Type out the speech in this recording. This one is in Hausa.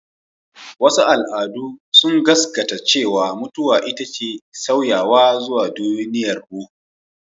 Wasu al'adu sun gaskata cewa mutuwa ita ce sauyawa zuwa duniyar ruhu.